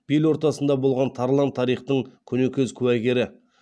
бел ортасында болған тарлан тарихтың көнекөз куәгері